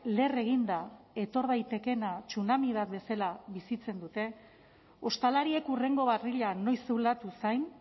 leher eginda etor daitekeena tsunami bat bezala bizitzen dute ostalariek hurrengo barrila noiz zulatu zain